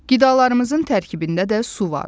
Qidalarımızın tərkibində də su var.